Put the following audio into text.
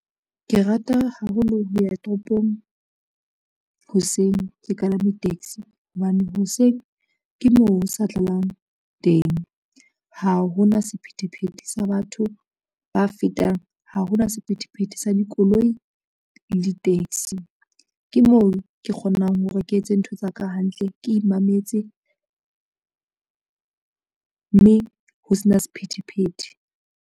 Ke rata haholo ho ya toropong, hoseng ke kalame taxi hobane hoseng ke moo ho sa tlalang teng. Ha hona sephethephethe sa batho ba fetang, ha hona sephethephethe sa dikoloi le di-taxi ke moo ke kgonang hore ke etse ntho tsa ka hantle ke imametse, mme ho se na sephethephethe.